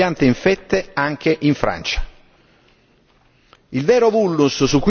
come confermato anche dal ritrovamento di queste piante infette anche in Francia.